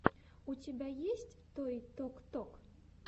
у тебя есть той ток ток